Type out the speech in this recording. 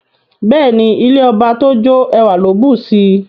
Beeni, ilẹ̀ ọbà tó jó, èwà kò ló bùṣí.